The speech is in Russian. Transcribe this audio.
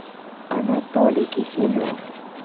анатолий киселев